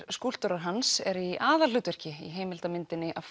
skúlptúrar hans eru í aðalhlutverki í heimildarmyndinni a